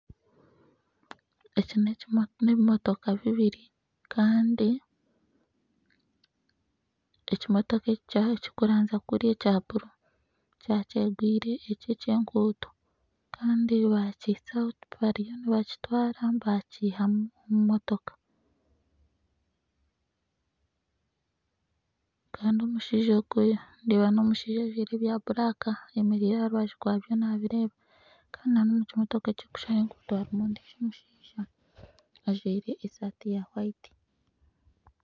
Eki nebimotoka bibiri Kandi ekimotoka ekirikuranzya kuriya ekya buru kyakyegwire ekyenkuuto Kandi bariyo nibakitwara bakihamu omu motoka Kandi omushaija ojwaire ebya buraaka ayemereire aha rubaju rwabyo nabireeba